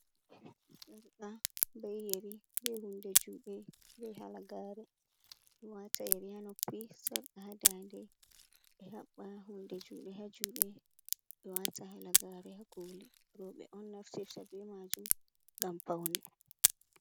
Sarqa bee yeri bee hunnde juuɗe be halagare, ɓewata yeri haa noppi, sarqa haa daande, ɓe haɓɓa hunnde juuɗe ha juuɗe, ɓe wata halagaare ha kooli rewɓe on naftirta be majum ngam paune.